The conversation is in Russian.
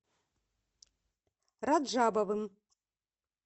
раджабовым